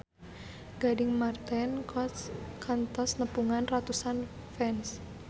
Gading Marten kantos nepungan ratusan fans